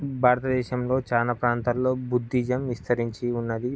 భారతదేశంలో చానా ప్రాంతాలలో బుద్ధిజం విస్తరించి ఉన్నదీ.